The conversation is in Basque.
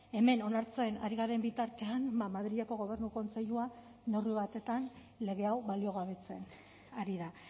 hemen onartzen ari garen bitartean madrileko gobernu kontseiluan neurri batean lege hau baliogabetzen ari da